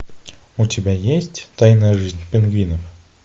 у тебя есть тайная жизнь пингвинов